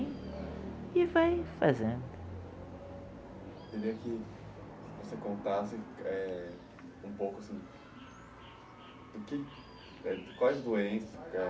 e vai fazendo. Eu queria que você contasse é um pouco, assim, do que quais doenças